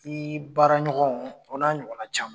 I baara ɲɔgɔnw o n'a ɲɔgɔn caman.